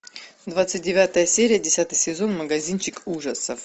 двадцать девятая серия десятый сезон магазинчик ужасов